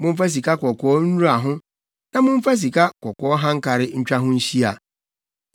Momfa sikakɔkɔɔ nnura ho na momfa sikakɔkɔɔ hankare ntwa ho nhyia.